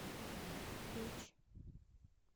печь